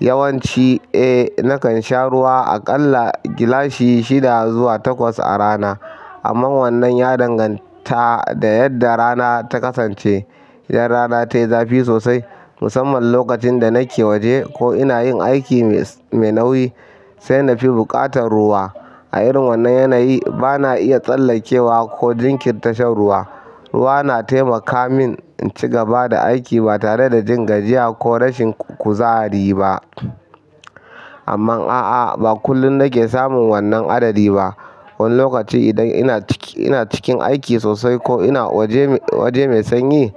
Yawanci, eh, nakan sha ruwa aƙalla gilashi shida zuwa takwas a rana, amma wannan ya danganta da yadda rana ta kasance. Idan rana tayi zafi sosai, musamman lokacin da nake waje ko ina yin aiki mai nauyi, sai na fi buƙatar ruwa. A irin wannan yanayi, ba na iya tsallakewa ko jinkirta shan ruwa. Ruwa na taimaka min in ci gaba da aiki ba tare da jin gajiya ko rashin kuzari ba. Amma a'a, ba kullum nake samun wannan adadi ba. Wani lokaci, idan ina cikin, ina cikin aiki sosai ko ina waje, waje mai sanyi,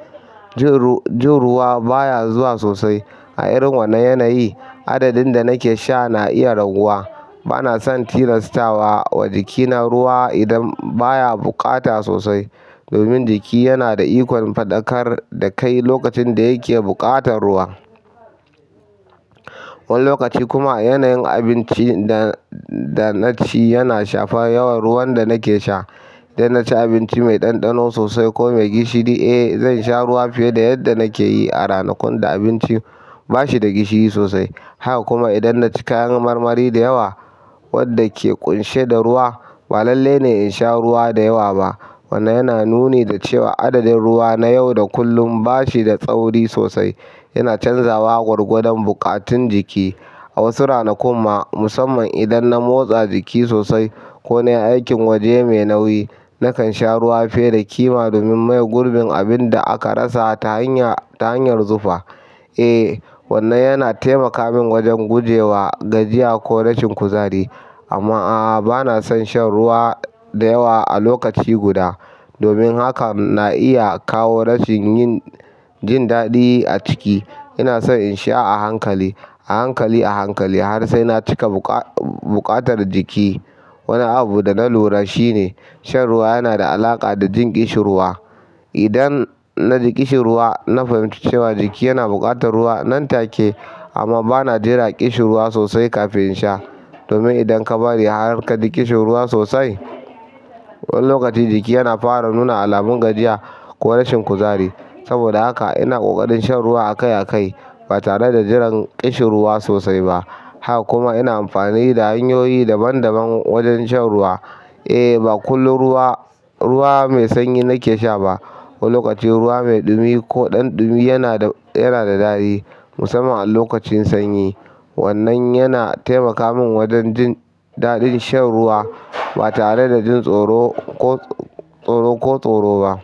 jin ruwa baya zuwa sosai. A irin wannan yanayi, adadin da nake sha na iya raguwa. Ba na son tilastawa wa jikina ruwa idan baya buƙata sosai domin jiki yana da ikon faɗakar da kai lokacin da yake buƙatar ruwa. Wani lokaci kuma yana yin abinci danaci yana shafa yawan ruwan danake sha idan na ci abinci mai ɗanɗano sosai ko mai gishiri, eh, zan sha ruwa fiye da yadda nake yi a ranakun da abincin ba shi da gishiri sosai. Haka kuma idan na ci kayan marmari da yawa wanda ke ƙunshe da ruwa, ba lalle ne in sha ruwa da yawa ba. Wannan yana nuni da cewa adadin ruwa na yau da kullun ba shi da tsauri sosai. Yana canzawa gwargwadon buƙatun jiki. A wasu ranakun ma, musamman idan na motsa jiki sosai ko na yi aikin waje mai nauyi, nakan sha ruwa fiye da ƙima domin maye gurbin abin da aka rasa ta hanyar, ta hanyar zufa. Eh, wannan yana taimaka min wajen gujewa gajiya ko rashin kuzari. Amma a'a, ba na son shan ruwa da yawa a lokaci guda domin hakan na iya kawo rashin jin daɗi a ciki. Ina son in sha a hankali, a hankali, a hankali har sai na cika buƙatar jiki. Wani abu da na lura shi ne shan ruwa yana da alaƙa da jin ƙishirwa. Idan na ji ƙishin ruwa, na fahimci cewa jiki yana buƙatar ruwa nan take, amma ba na jera ƙishin ruwa sosai kafin in sha. Domin idan ka bari har ka ji ƙishin ruwa sosai, wani lokaci jiki yana fara nuna alamun gajiya ko rashin kuzari. Saboda haka ina ƙoƙarin shan ruwa akai a kai ba tare da jiran ƙishin ruwa sosai ba. Haka kuma ina amfani da hanyoyi daban daban wajen shan ruwa. Eh, ba kullum ruwa, ruwa mai sanyi nake sha ba. Wani lokaci ruwa mai ɗumi ko ɗanɗumi yana da, yana da daɗi, musamman a lokacin sanyi. Wannan yana taimaka min wajen jin daɗin shan ruwa ba tare da jin tsoro ko tsoro ko tsoro ba.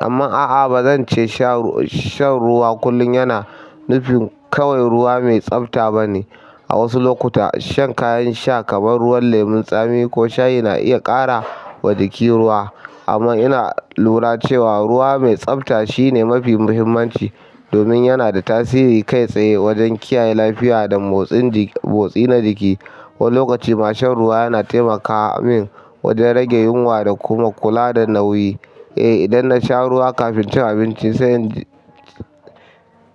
Amma a'a, ba zan ce shan ruwa, shan ruwa kullum yana nufin kawai ruwa mai tsafta ba ne. A wasu lokuta shan kayan sha kamar ruwan lemun tsami ko shayi na iya ƙara wa jiki ruwa. Amma ina lura cewa ruwa mai tsafta shine mafi muhimmanci domin yana da tasiri kai tsaye wajen kiyaye lafiya da motsin jiki, motsi na jiki. Wani lokaci ma shan ruwa yana taimaka min wajen rage yunwa da kuma kula da nauyi. Eh, idan na sha ruwa kafin cin abinci, saiji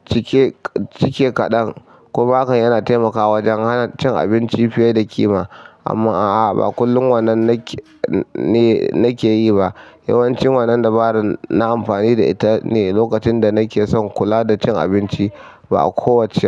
cike, cike kaɗan kuma hakan yana taimakawa wajen hana cin abinci fiye da ƙima. Amma a'a, ba kullum wannan nake, ne, nake yi ba. Yawanci wannan dabaran nayi amfani da ita ne lokacin da nake son kula da cin abinci, ba a kowace rana ba.